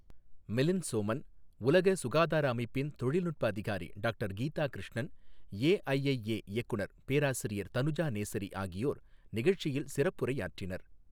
மிலிந்த் சோமன், உலக சுகாதார அமைப்பின் தொழில்நுட்ப அதிகாரி டாக்டர் கீதா கிருஷ்ணன், ஏஐஐஏ இயக்குநர் பேராசிரியர் தனுஜா நேசரி ஆகியோர் நிகழ்ச்சியில் சிறப்புரையாற்றினர்.